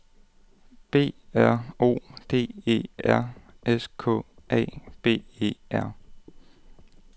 B R O D E R S K A B E R